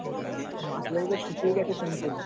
মাছলা নদীতো শুকিয়ে গেছে শুনছিলাম